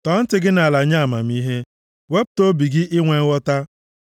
tọọ ntị gị nʼala nye amamihe, wepụta obi gị inwe nghọta.